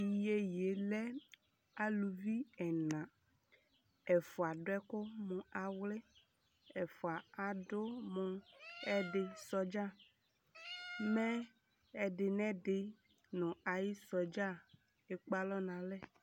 Tʋ iyeye yɛ lɛ aluvi ɛna Ɛfʋa adʋ ɛkʋ mʋ awlɩ Ɛfʋa adʋ mʋ ɛyɛdɩ sɔdza Mɛ ɛdɩ nʋ ɛdɩ nʋ ayʋ sɔdza kʋ ekpe alɔ nʋ alɛ